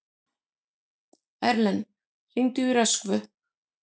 Erlen, hringdu í Röskvu.